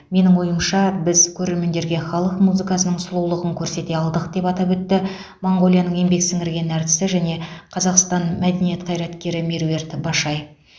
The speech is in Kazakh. менің ойымша біз көрермендерге халық музыкасының сұлулығын көрсете алдық деп атап өтті моңғолияның еңбек сіңірген әртісі және қазақстан мәдениет қайраткері меруерт башай